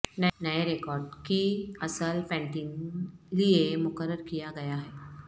نئے ریکارڈ کی اصل پینٹنگ لئے مقرر کیا گیا ہے